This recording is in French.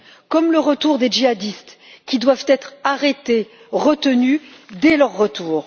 comme le retour des djihadistes, qui doivent être arrêtés, retenus dès leur retour.